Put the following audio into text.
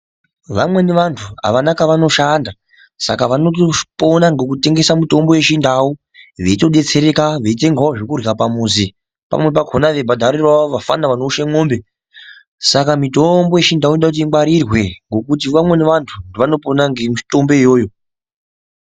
Vamweni vantu avana kwa vanoshanda saka vanoto pona ngeku tengesa mutombo ye chindau veito detsereka vei tengawo zvekurya pamuzi pamweni pakona vei bhadharirawo vapfana vano ushe mombe saka mitombo ye chindau inoda kuti ingwarirwe ngekuti vamweni vantu vanopona nge mitombo iyoyo.